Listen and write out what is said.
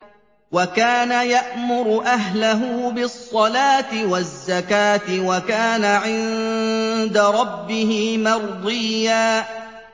وَكَانَ يَأْمُرُ أَهْلَهُ بِالصَّلَاةِ وَالزَّكَاةِ وَكَانَ عِندَ رَبِّهِ مَرْضِيًّا